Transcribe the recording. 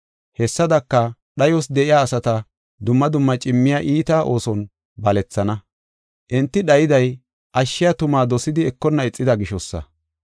Hessadaka, dhayos de7iya asata dumma dumma cimmiya iita ooson balethana. Enti dhayiday ashshiya tumaa dosidi ekonna ixida gishosa.